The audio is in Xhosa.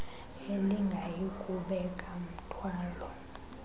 elingayi kubeka mthwalo